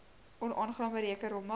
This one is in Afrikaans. onaangename reuke rommel